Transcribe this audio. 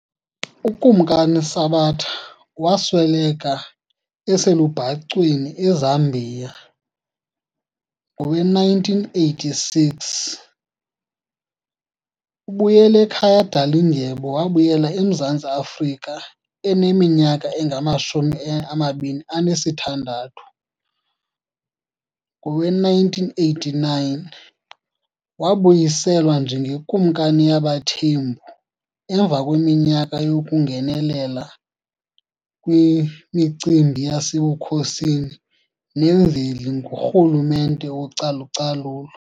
UKumkani Sabata wasweleka eselubhacweni eZambia ngowe1986, uBuyelekhaya Dalindyebo wabuyela eMzantsi Afrika eneminyaka engamashumi amabini anesithandathu ngowe1989 wabuyiselwa njengeKumkani yabaThembu emva kweminyaka yokungenelela kwimicimbi yasebukhosini nemveli ngurhulumente wocalucalulo.